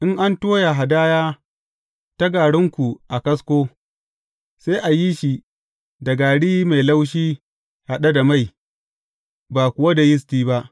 In an toya hadaya ta garinku a kasko, sai a yi shi da gari mai laushi haɗe da mai, ba kuwa da yisti ba.